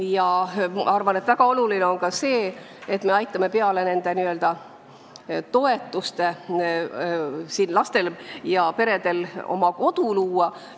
Ma arvan, et väga oluline on ka see, et me peale toetuste maksmise aitaksime peredel kodu luua.